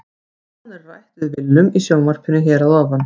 Nánar er rætt við Willum í sjónvarpinu hér að ofan.